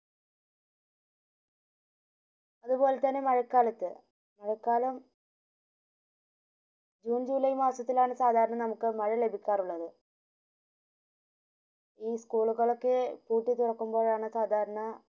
അതുപോലെ തന്നെ മഴകാലത് മഴ കാല junejuly മാസത്തിലാണ് സാദാരണ നമുക് മഴ ലഭിക്കാറുള്ളത് ഈ school കളൊക്കെ പൂട്ടി തുറക്കുമ്പോഴാണ് സാദാരണ